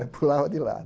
Aí pulava de lado.